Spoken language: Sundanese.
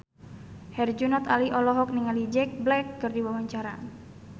Herjunot Ali olohok ningali Jack Black keur diwawancara